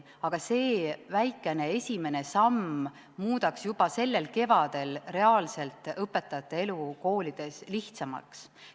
Aga see väikene esimene samm muudaks juba sellel kevadel õpetajate elu koolides reaalselt lihtsamaks.